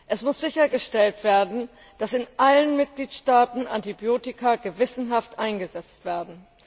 Es muss sichergestellt werden, dass in allen Mitgliedstaaten Antibiotika gewissenhaft eingesetzt werden.